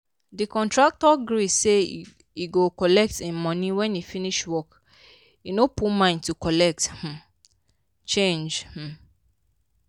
the contractor gree say he cgo collect him money when he finish work he no put mind to colet um change um